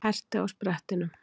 Herti á sprettinum.